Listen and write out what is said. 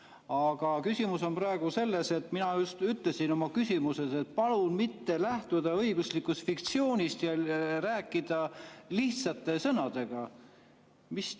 Aga küsimus on praegu selles, et mina ütlesin oma küsimuses, et palun mitte lähtuda õiguslikust fiktsioonist ja rääkida lihtsate sõnadega.